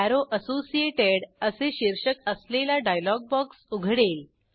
arrow associated असे शीर्षक असलेला डायलॉग बॉक्स उघडेल